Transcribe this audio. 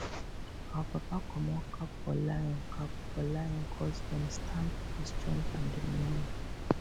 our papa comot cap for lion cap for lion coz dem stand for strength and dominion